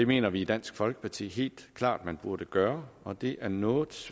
mener vi i dansk folkeparti helt klart at man burde gøre og det er noget